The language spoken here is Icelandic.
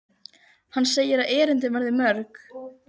Hann segir að erindin verði mörg.